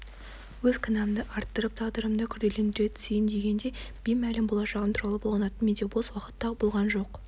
өз кінәмді арттырып тағдырымды күрделендіре түсейін дегендей беймәлім болашағым туралы толғанатын менде бос уақыт та болған жоқ